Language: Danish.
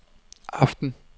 aften